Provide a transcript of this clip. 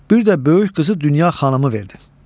bir də böyük qızı Dünya Xanımı verdin.